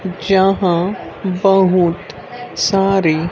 जहां बहुत सारे--